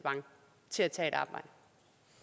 til at tage et arbejde